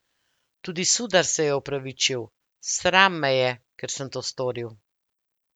Tudi Sudar se je opravičil: "Sram me je, ker sem to storil.